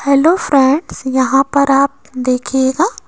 Hello friends यहां पर आप देखिएगा।